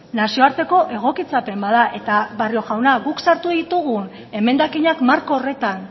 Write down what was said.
nazioarteko egokitzapen bat da eta barrio jauna guk sartu ditugun emendakinak marko horretan